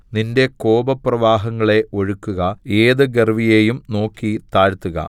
നിന്റെ കോപപ്രവാഹങ്ങളെ ഒഴുക്കുക ഏത് ഗർവ്വിയെയും നോക്കി താഴ്ത്തുക